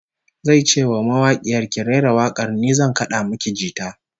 Zai ce wa mawakiyar, "Ki rera wak'ar, ni zan kad'a miki jita".